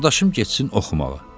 Qardaşım getsin oxumağa.